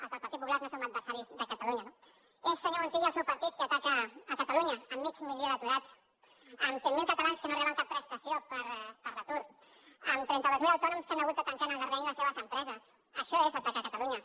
els del partit popular no som adversaris de catalunya no és senyor montilla el seu partit que ataca catalunya amb mig milió d’aturats amb cent mil catalans que no reben cap prestació per l’atur amb trenta dos mil autònoms que han hagut de tancar el darrer any les seves empreses això és atacar catalunya